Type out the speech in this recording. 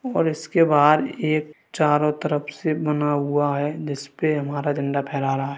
और उसके बाहर एक चारो तरफ से बना हुआ है जिस पे हमारा झंडा फहरा रहा है।